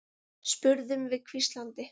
spurðum við hvíslandi.